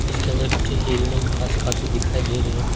इसके अंदर कुछ हिरने घास खाती दिखाई दे रही है।